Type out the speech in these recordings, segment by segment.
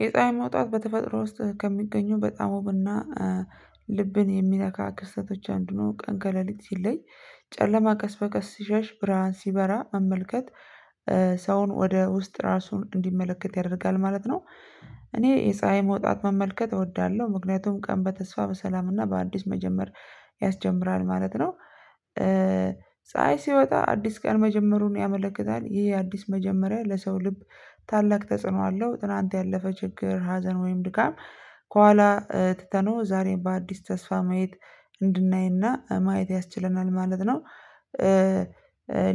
የፀሀይ መውጣት በተፈጥሮ ውስጥ ከሚገኙ በጣም ውብ እና ልብን የሚነካ ክስተቶች አንዱ ነው ቀን ከለሊት ሲለኝ ጨለማ ቀስ በቀስ ሲሸሽ ብርሃን ሲበራ መመልከት ሰውን ወደ ውስጥ ራሱን እንዲመለከት ያደርጋል ማለት ነው። እኔ የፀሀይ መውጣት መመልከት እወዳለሁ ምክንያቱም ቀን በተስፋ በሰላም እና በአዲስ መጀመር ያስጀምራል ማለት ነው። ሲወጣ አዲስ ቀን መጀመሩን ያመለክታል ይሄ አዲስ መጀመሪያ ለሰው ልብ ታላቅ ተጽዕኖ አለው። ትላንት ያለፈ ችግር ሀዘን ወይም ድካም ከኋላ ትተነው ዛሬም በአዲስ ተስፋ ማየት እንድናይና ማየት ያስችለናል ማለት ነው።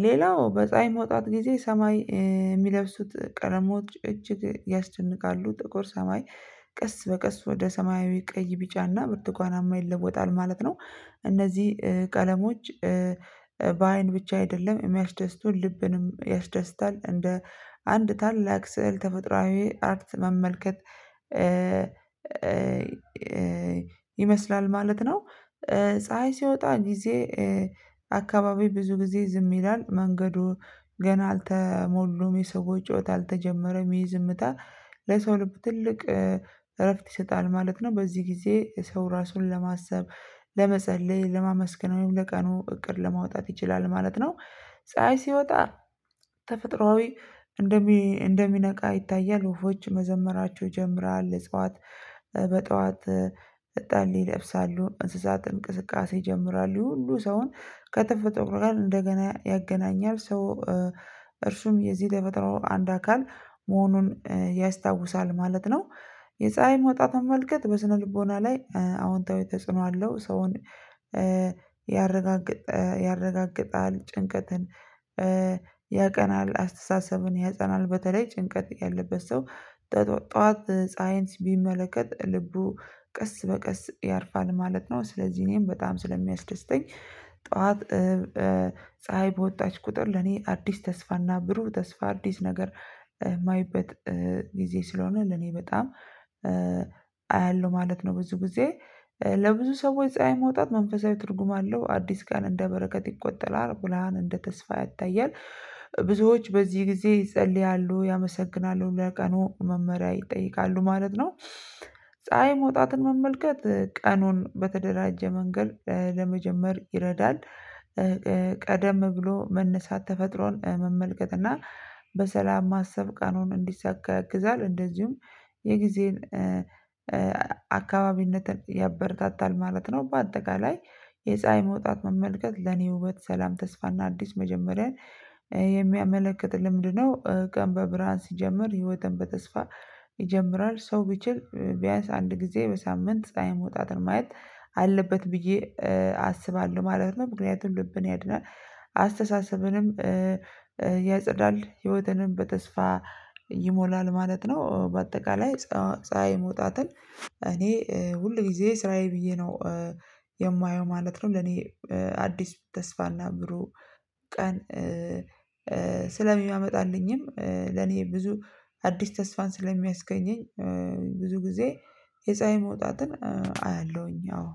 ሌላው በፀሀይ መውጣት ጊዜ ሰማይ የሚለብሱት ቀለሞች እጅግ ያስጨንቃሉ ጥቁር ሰማይ ቀስ በቀስ ወደ ሰማያዊ ቀይ ቢጫና ብርቱካናማ ይለወጣል ማለት ነው። እነዚህ ቀለሞች ብቻ አይደለም የሚያስደስቱን ልብንም ያስደስታል እንደ አንድ ታላቅ ስዕል ተፈጥሮአዊ አርት መመልከት ይመስላል ማለት ነው። ፀሀይ ሲወጣ ጊዜ አካባቢ ብዙ ጊዜ ዝም ይላል መንገዱ ገና አልተሞሉም የሰው ጨዋታ አልተጀመረም ይሄ ዝምታ ለሰው ልብ ትልቅ እረፍት ይሰጣል ማለት ነው። በዚህ ጊዜ ሰው ራሱን ለማሰብ ለመጸለይ ለማመስገን ወይም ለቀኑ እቅድ ለማውጣት ይችላል ማለት ነው። ፀሀይ ሲወጣ ተፈጥሮአዊ እንደሚነቃ ይታያል ወፎች መዘመራቸው ይጀምራል እጽዋት በጧት እጣሌ ይለብሳሉ እንስሳት እንቅስቃሴ ይጀምራሉ ሁሉ ሰውን ከተፈጥሮ ጋር እንደገና ያገናኛል ሰው እርሱም የዚህ ለፈተናው አንድ አካል መሆኑን ያስታውሳል ማለት ነው። የፀሀይ መውጣት አመልከት በስነልቦና ላይ አዎንታዊ ተጽዕኖ አለው ሰውን ያረጋግጣል ጭንቀትን ያቀናል አስተሳሰብን ያጸናል በተለይ ጭንቀት ያለበት ሰው ጠዋት ፀሀይን ቢመለከት ልቡ ቀስ በቀስ ያርፋል ማለት ነው። ስለዚህ እኔም በጣም ስለሚያስደስተኝ ጠዋት ፀሀይ በወጣች ቁጥር ለኔ አዲስ ተስፋና ብሩህ ተስፋ አዲስ ነገር የማይበት ጊዜ ስለሆነ ለኔ በጣም ማለት ነው። ብዙ ጊዜ ለብዙ ሰዎች ፀሀይ መውጣት መንፈሳዊ ትርጉም አለው አዲስ ቀን እንደ በረከት ይቆጠራል ብርሃን እንደ ተስፋ ያታያል ብዙዎች በዚህ ጊዜ ይጸልያሉ ያመሰግናሉ ለቀኑ መመሪያ ይጠይቃሉ ማለት ነው። ፀሀይ መውጣትን መመልከት ቀኑን በተደራጀ መንገድ ለመጀመር ይረዳል። ቀደም ብሎ መነሳት ተፈጥሮን መመልከት እና በሰላም ማሰብ ቀኑን እንዲሳካ ያግዛል እንደዚሁም የጊዜን አካባቢነትን ያበረታታል ማለት ነው። በአጠቃላይ የፀሀይ መውጣት መመልከት ለኔ ውበት ሰላም ተስፋና አዲስ መጀመሪያ የሚያመለክት ልምድ ነው። ቀን በብርሃን ሲጀምር ህይወትን በተስፋ ይጀምራል ሰው ቢችል ቢያንስ አንድ ጊዜ በሳምንት ፀሀይ መውጣት ማየት አለበት ብዬ አስባለሁ ማለት ነው። ምክንያቱም ልብን ያድናል አስተሳሰብንም ያጸዳል ህይወትንም በተስፋ ይሞላል ማለት ነው። በአጠቃላይ ፀሀይ መውጣትን እኔ ሁል ጊዜ ስራዬ ብዬ ነው የማየው ማለት ነው። ለኔ አዲስ ተስፋና ብሩህ ቀን ስለሚያመጣልኝም ለኔ ብዙ አዲስ ተስፋን ስለሚያስገኘኝ ብዙ ጊዜ የፀሀይ መውጣትን አያለሁኝ አዎ